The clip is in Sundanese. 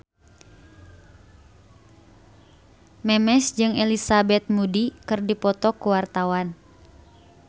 Memes jeung Elizabeth Moody keur dipoto ku wartawan